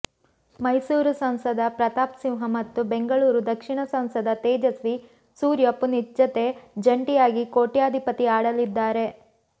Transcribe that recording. ಮೈಸೂರು ಸಂಸದ ಪ್ರತಾಪ್ ಸಿಂಹ ಮತ್ತು ಬೆಂಗಳೂರು ದಕ್ಷಿಣ ಸಂಸದ ತೇಜಸ್ವಿ ಸೂರ್ಯ ಪುನೀತ್ ಜತೆ ಜಂಟಿಯಾಗಿ ಕೋಟ್ಯಾಧಿಪತಿ ಆಡಲಿದ್ದಾರೆ